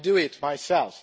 I do it myself.